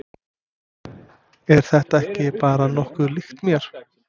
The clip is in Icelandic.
Er þetta ekki bara nokkuð líkt mér?